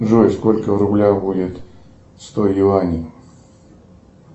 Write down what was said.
джой сколько в рублях будет сто юаней